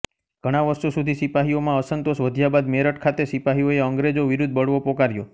ઘણા વર્ષો સુધી સિપાહીઓમાં અસંતોષ વધ્યા બાદ મેરઠ ખાતે સિપાહીઓએ અંગ્રેજો વિરુદ્ધ બળવો પોકાર્યો